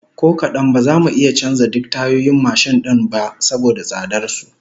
Ko kadan, ba za mu iya canza duk tayoyin mashin din ba saboda tsadar su